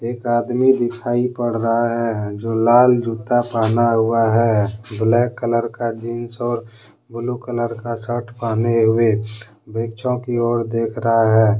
एक आदमी दिखाई पड़ रहा है जो लाल जूता पहना हुआ है ब्लैक कलर का जींस और ब्लू कलर का शर्ट पहने हुए वृक्षों की ओर देख रहा है।